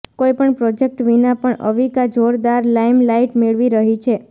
કોઈપણ પ્રોજેક્ટ વિના પણ અવિકા જોરદાર લાઇમલાઇટ મેળવી રહી છે